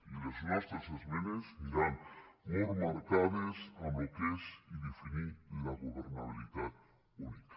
i les nostres esmenes aniran molt marcades en el que és i definir la governabilitat única